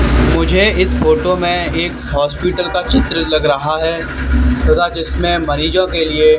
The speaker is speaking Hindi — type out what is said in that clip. मुझे इस फोटो में एक हॉस्पिटल का चित्र लग रहा है तथा जिसमें मरीजों के लिए--